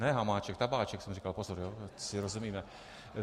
ne Hamáček, tabáček jsem říkal, pozor, ať si rozumíme.